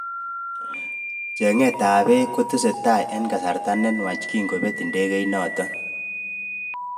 Chenget ab bek kotesetai eng kasarta nenwach kingobet ndegeit natok.